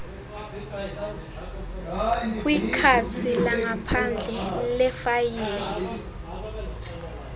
kwikhasi langaphandle lefayile